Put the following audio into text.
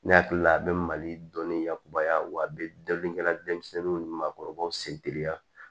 Ne hakili la a bɛ mali dɔnni yakubaya wa a bɛ dabirikɛla denmisɛnninw ni maakɔrɔbaw seteliya